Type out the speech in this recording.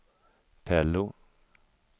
Pello